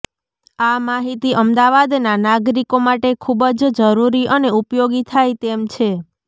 આ માહિતી અમદાવાદનાં નાગરીકો માટે ખૂબ જ જરૂરી અને ઉપયોગી થાય તેમ છે